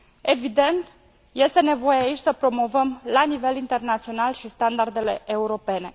Evident, este nevoie aici să promovăm la nivel internațional și standardele europene.